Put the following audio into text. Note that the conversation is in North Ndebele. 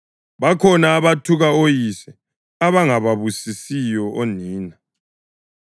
Bakhona abathuka oyise, abangababusisiyo onina;